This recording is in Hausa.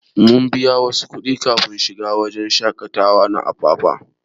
Mun biya wasu kudin kafin shiga wajen shakatawa na Apapa.